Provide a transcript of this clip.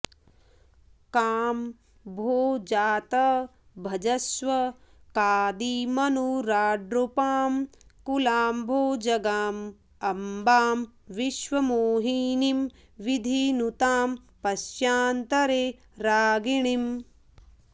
कां भो जात भजस्व कादिमनुराड्रूपां कुलाम्भोजगां अम्बां विश्वविमोहिनीं विधिनुतां पश्यान्तरे रागिणीम्